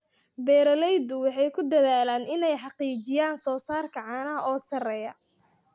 Beeraleydu waxay ku dadaalaan inay xaqiijiyaan soosaarka caanaha oo sarreeya.